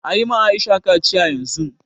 Ayi ma Aisha kaciya yanzun